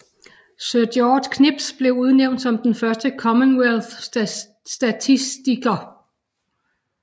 Sir George Knibbs blev udnævnt som den første Commonwealth statistiker